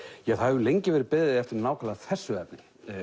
ja það hefur lengi verið beðið eftir nákvæmlega þessu efni